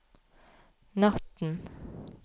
natten